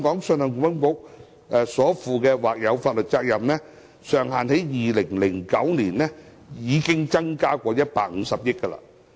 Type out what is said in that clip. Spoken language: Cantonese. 信保局所負的或有法律責任的上限，在2009年已曾增加150億元。